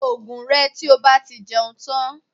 Lo oògùn rẹ tí o bá ti jẹun tán